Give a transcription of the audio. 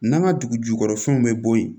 N'an ka dugu jukɔrɔfɛnw bɛ bɔ yen